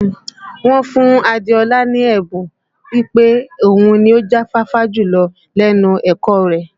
Wọ́n fún Adéọlá ní ẹ̀bùn pé òun ni ó já fáfá jùlọ lẹ́nu ẹ̀kọ́ ọ rẹ̀